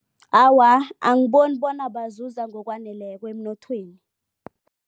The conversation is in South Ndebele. Awa, angiboni bona bazuza ngokwaneleko emnothweni.